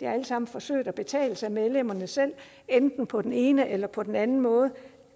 det er alt sammen forsøg der betales af medlemmerne selv enten på den ene eller på den anden måde